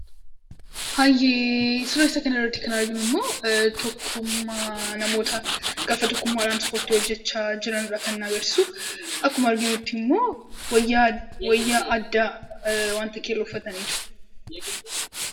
Hayyee suuraa isa kanarratti kan arginu immoo tokkummaa namootaa gaafa tokkummaa dhaan ispoortii hojjechaa jiranii dha kan inni agarsiisu. Akkuma arginutti immoo wayyaa addaa wanta keelloo uffatanii jiru.